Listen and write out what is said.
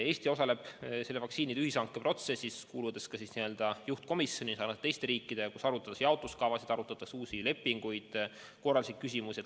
Eesti osaleb vaktsiinide ühishanke protsessis, kuuludes koos teiste riikidega ka juhtkomisjoni, kus arutatakse jaotuskavasid ja uusi lepinguid, samuti korralduslikke küsimusi.